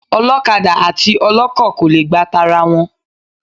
Ọlọ́kadà àti ọlọ́kọ̀ kò le gba tara wọn.